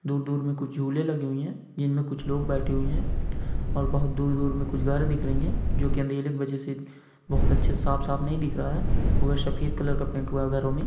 दूर दूर मे कुछ झूले लगे हुए है जिनमे कुछ लोग बैठे हुए है ओर दूर दूर मे कुछ घर दिख रहे है जो की अँधेले की वजह से बहुत साफ साफ नहीं दिख रहा है वो एक सफेद कलर का पैंटवा अगर मे|